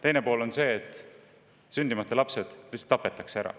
Teine pool on see, et sündimata lapsed lihtsalt tapetakse ära.